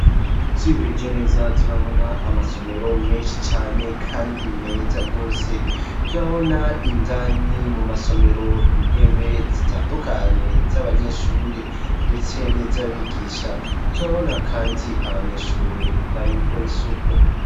Twihweje neza turabona amasomero menshi cane kandi meza rwose; turabona indani mu masomero intebe zitandukanye z'abanyeshure, ndetse niz'abigisha turabona kandi abanyeshure bari gukora isuku.